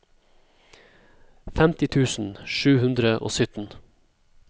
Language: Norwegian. femti tusen sju hundre og sytten